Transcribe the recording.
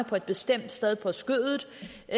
på et bestemt sted på skødet